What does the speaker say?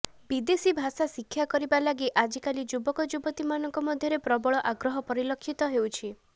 ବିଦେଶୀ ଭାଷା ଶିକ୍ଷା କରିବା ଲାଗି ଆଜିକାଲି ଯୁବକ ଯୁବତୀ ମାନଙ୍କ ମଧ୍ୟରେ ପ୍ରବଳ ଆଗ୍ରହ ପରିଲକ୍ଷିତ ହେଉଛି